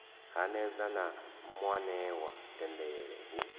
hanedza na muanewa dendele hu